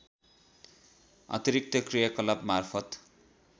अतिरिक्त क्रियाकलाप मार्फत